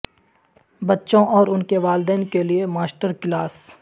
بچوں اور ان کے والدین کے لئے ماسٹر کلاس